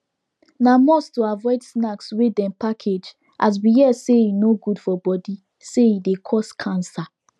na must to avoid snacks wey dem package as we here say e no good for body say e dey cause cancer